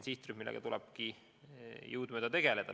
See on sihtrühm, kellega tuleb ka jõudumööda tegeleda.